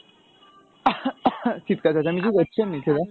চিৎকার চেঁচামেচি করছে নিজেরা